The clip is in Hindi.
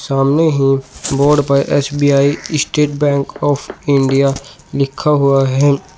सामने ही बोर्ड पर SBI state bank of India लिखा हुआ है।